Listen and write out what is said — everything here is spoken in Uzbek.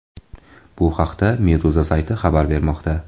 Bu haqda Meduza sayti xabar bermoqda .